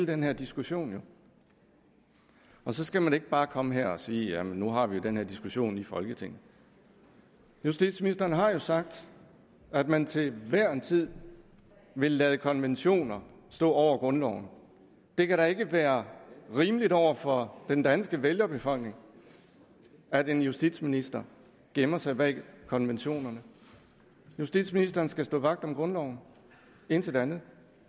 den her diskussion jo og så skal man ikke bare komme og sige at nu har vi den her diskussion i folketinget justitsministeren har jo sagt at man til hver en tid vil lade konventioner stå over grundloven det kan da ikke være rimeligt over for den danske vælgerbefolkning at en justitsminister gemmer sig bag konventionerne justitsministeren skal stå vagt om grundloven intet andet